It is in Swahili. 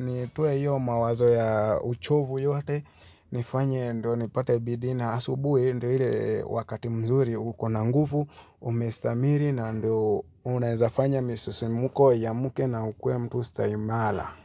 nitoe hiyo mawazo ya uchovu yote. Nifanye ndio nipate bidii na. Asubuhi ndio ile wakati mzuri uko na nguvu, umestamiri na ndio unaezafanya misisimuko iamuke na ukuwe mtu stahimala.